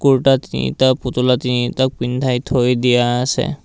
কুৰ্তা তিনিটা পুতলা তিনিটাক পিন্ধাই থৈ দিয়া আছে।